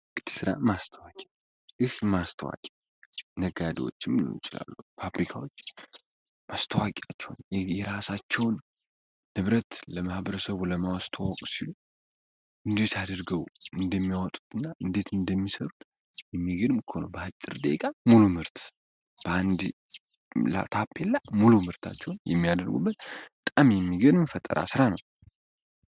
የንግድ ስራ ማስታወቂያ ማስታወቂያ ነጋዴዎችም ሊሆን ይችላሉ ድርጅቶች የራሳቸውን ንብረት ለማህበረሰቡ ለማስተዋወቅ ሲሉ እንዴት አድርጎ እንደሚያወጡት እና እንደሚሰሩት በአጭር ደቂቃ ሙሉ ምርት በአንድ ታፔላ ምርታቸውን የሚያደርጉበት በጣም የሚገርም የፈጠራ ስራ ነው።